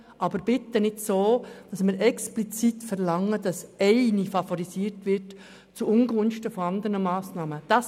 Aber es ist nicht richtig, explizit zu verlangen, dass eine Massnahme zu Ungunsten von anderen favorisiert wird.